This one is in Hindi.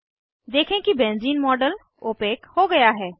देखें कि बेंज़ीन मॉडल ओपेक हो गया है